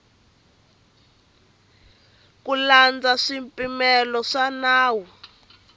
ku landza swipimelo swa nawu